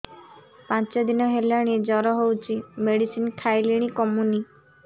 ପାଞ୍ଚ ଦିନ ହେଲାଣି ଜର ହଉଚି ମେଡିସିନ ଖାଇଲିଣି କମୁନି